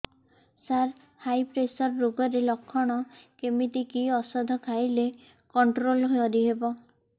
ସାର high pressure ରୋଗର ଲଖଣ କେମିତି କି ଓଷଧ ଖାଇଲେ କଂଟ୍ରୋଲ କରିହେବ